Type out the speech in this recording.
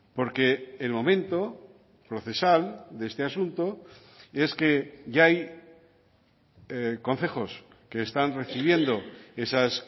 porque el momento procesal de este asunto es que ya hay concejos que están recibiendo esas